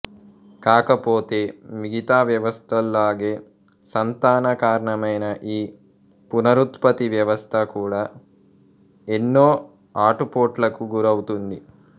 కాకపోతే మిగతా వ్యవస్థల్లాగే సంతాన కారణమైన ఈ పునరుత్పత్తి వ్యవస్థ కూడా ఎన్నో ఆటుపోట్లకు గురవుతోంది